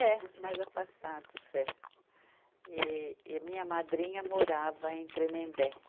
É, mais afastados, é. E, e minha madrinha morava em Tremembé.